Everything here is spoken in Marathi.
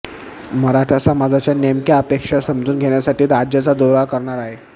मराठा समाजाच्या नेमक्या अपेक्षा समजून घेण्यासाठी राज्याचा दौरा करणार आहे